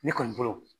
Ne kɔni bolo